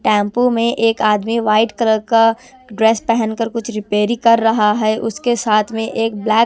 Tempo में एक आदमी व्हाइट कलर का ड्रेस पहन कर कुछ रिपेयरिंग कर रहा है। उसके साथ में एक ब्लैक --